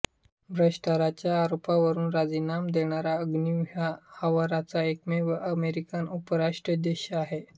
भ्रष्टाचाराच्या आरोपावरून राजीनाम देणारा एग्न्यू हा आजवरचा एकमेव अमेरिकन उपराष्ट्राध्यक्ष आहे